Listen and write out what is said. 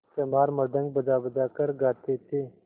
चमार मृदंग बजाबजा कर गाते थे